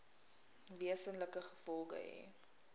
wesenlike gevolge hê